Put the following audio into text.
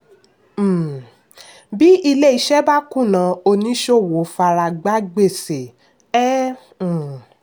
um bí ilé-iṣẹ́ bá kùnà oníṣòwò faragbá gbèsè. um